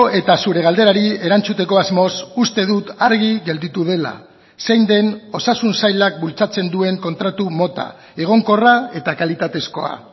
eta zure galderari erantzuteko asmoz uste dut argi gelditu dela zein den osasun sailak bultzatzen duen kontratu mota egonkorra eta kalitatezkoa